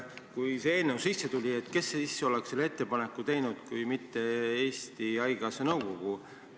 Kes siis muidu oleks selle ettepaneku teinud kui mitte Eesti Haigekassa nõukogu?